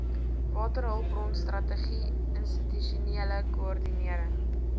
waterhulpbronstrategie institusionele koördinering